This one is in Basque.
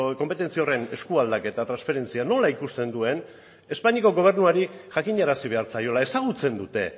konpetentzia horren eskualdaketa transferentzia nola ikusten duen espainiako gobernuari jakinarazi behar zaiola ezagutzen dute